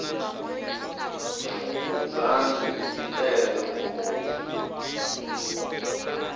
fukundzani yi tele ngopfu